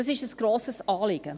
Das ist ein grosses Anliegen.